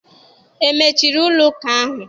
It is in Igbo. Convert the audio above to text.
E mechiri ụlọ ụka ahụ?